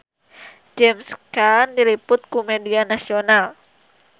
James Caan diliput ku media nasional